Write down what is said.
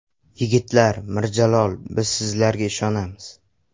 Yigitlar, Mirjalol, biz sizlarga ishonamiz.